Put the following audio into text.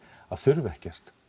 að þurfa ekkert